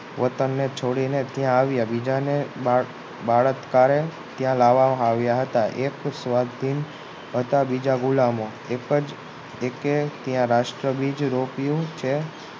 વતન ને છોડીને ત્યાં આવ્યા અને બળાત્કારી લાવવામાં આવ્યા હતા એક સ્વાધીન હતા અને બીજા ગુલામો એક જ એકે ત્યાં રાષ્ટ્રબીજ રોપ્યો છે